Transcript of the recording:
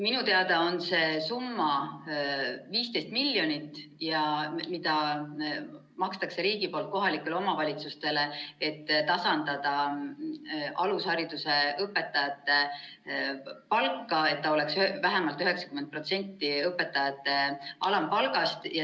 Minu teada on see summa 15 miljonit, mis makstakse riigi poolt kohalikele omavalitsustele, et tasandada alushariduse õpetajate palka, et see oleks vähemalt 90% õpetajate alampalgast.